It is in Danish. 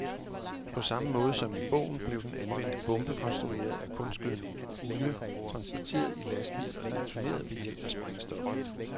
På samme måde som i bogen blev den anvendte bombe konstrueret af kunstgødning og olie, transporteret i lastbil og detoneret ved hjælp af sprængstof.